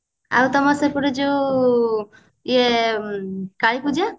ଆ ତମ ସେପଟେ ଯୋଉ ଇଏ କାଳି ପୂଜା